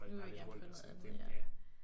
Nu ville vi gerne prøve noget andet ja